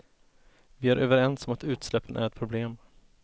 Vi är överens om att utsläppen är ett problem.